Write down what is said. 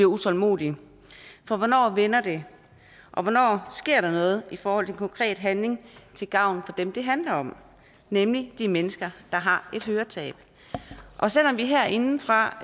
utålmodig for hvornår vender det og hvornår sker der noget i forhold til konkret handling til gavn for dem det handler om nemlig de mennesker der har et høretab selv om vi herindefra